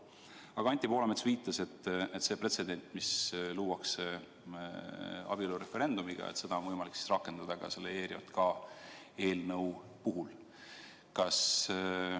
Aga Anti Poolamets viitas, et seda pretsedenti, mis luuakse abielureferendumiga, on võimalik rakendada ka ERJK eelnõu puhul.